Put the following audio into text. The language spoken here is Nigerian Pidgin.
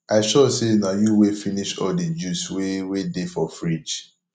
i sure say na you wey finish all the juice wey wey dey for fridge